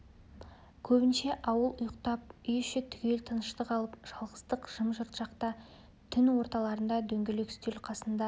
көбінше ауыл ұйықтап үй іші түгел тыныштық алып жалғыздық жым-жырт шақта түн орталарында дөңгелек үстел қасында